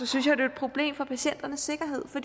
synes jeg det er et problem for patienternes sikkerhed for